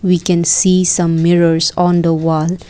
we can see some mirrors on the wall.